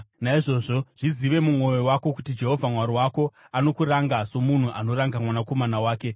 Naizvozvo zvizive mumwoyo wako kuti Jehovha Mwari wako anokuranga, somunhu anoranga mwanakomana wake.